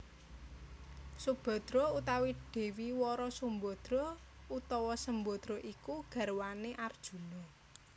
Subhadra utawa Dewi Wara Sumbadra utawa Sembadra iku garwané Arjuna